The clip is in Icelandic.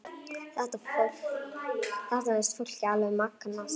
Þetta finnst fólki alveg magnað.